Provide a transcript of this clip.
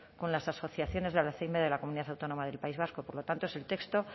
con las asociaciones del alzhéimer de la comunidad autónoma del país vasco por lo tanto es el texto